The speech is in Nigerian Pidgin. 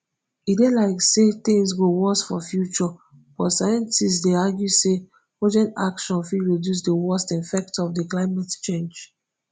e dey likely say tins go worse for future but scientists dey argue say urgent action fit reduce di worst effects of di climate change